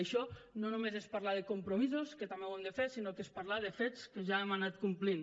això no només és parlar de compromisos que també ho hem de fer sinó és parlar de fets que ja hem anat complint